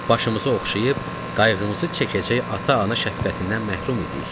Başımızı oxşayıb, qayğımızı çəkəcək ata-ana şəfqətindən məhrum idik.